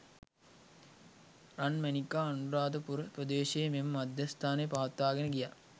රන්මැණිකා අනුරාධපුර ප්‍රදේශයේ මෙම මධ්‍යස්ථානය පවත්වාගෙන ගියා